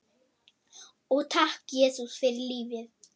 Og takk, Jesús, fyrir lífið.